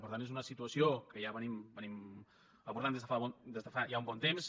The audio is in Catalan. per tant és una situació que ja abordem des de fa ja un bon temps